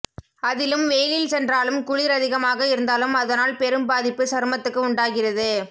அதிலும் வெயிலில் சென்றாலும் குளிர் அதிகமாக இருந்தாலும் அதனால் பெரும் பாதிப்பு சருமத்துக்கு உண்டாகிறது